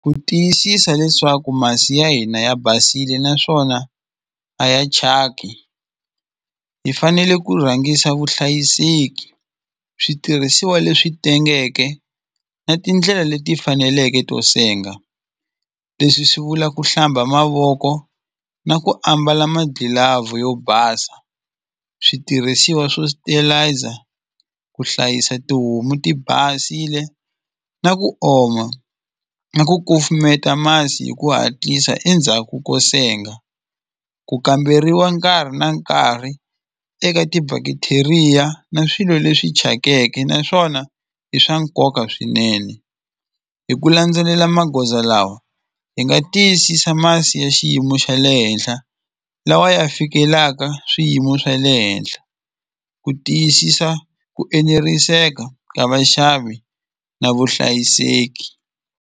Ku tiyisisa leswaku masi ya hina ya basile naswona a ya thyaki hi fanele ku rhangisa vuhlayiseki switirhisiwa leswi tengeke na tindlela leti faneleke to senga leswi swi vula ku hlamba mavoko na ku ambala magilavhu yo basa switirhisiwa swo ku hlayisa tihomu ti basile na ku oma na ku kufumeta masi hi ku hatlisa endzhaku ko senga ku kamberiwa nkarhi na nkarhi eka ti-bacteria na swilo leswi thyakeke naswona i swa nkoka swinene hi ku landzelela magoza lawa hi nga tiyisisa masi ya xiyimo xa le henhla lawa ya fikelaka swiyimo swa le henhla ku tiyisisa ku eneriseka ka vaxavi na vuhlayiseki.